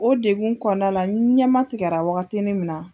O degun kɔnɔna la, n ɲɛma tigɛra waagati ni min na.